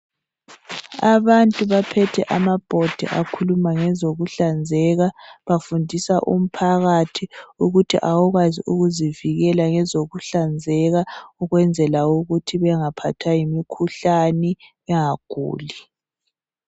Abantu baphethe amabhodi akhuluma ngezokuhlanzeka bafundisa umphakathi ukuthi awukwazi ukuzivikela ngezokuhlanzeka ukwenzela ukuthi bengaphathwa yimikhuhlane bengaguli.